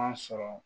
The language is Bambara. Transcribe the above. sɔrɔ